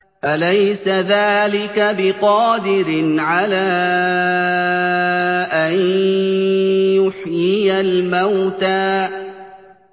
أَلَيْسَ ذَٰلِكَ بِقَادِرٍ عَلَىٰ أَن يُحْيِيَ الْمَوْتَىٰ